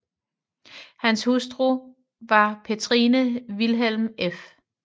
Hans hustru var Petrine Vilhelmine f